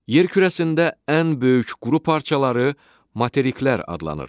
Yer kürəsində ən böyük quru parçaları materiklər adlanır.